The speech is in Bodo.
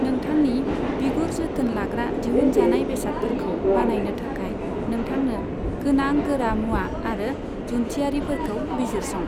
नोंथांनि बिगुर जोथोन लाग्रा दिहुनजानाय बेसादफोरखौ बानायनो थाखाय नोंथांनो गोनां गोरामुवा आरो जुनथियारिफोरखौ बिजिरसं।